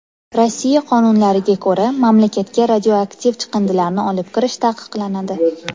Rossiya qonunlariga ko‘ra, mamlakatga radioaktiv chiqindilarni olib kirish taqiqlanadi.